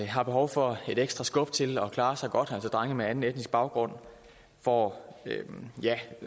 har behov for et ekstra skub til at klare sig godt altså drenge med anden etnisk baggrund får